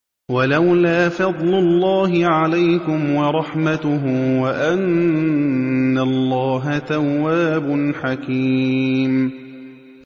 وَلَوْلَا فَضْلُ اللَّهِ عَلَيْكُمْ وَرَحْمَتُهُ وَأَنَّ اللَّهَ تَوَّابٌ حَكِيمٌ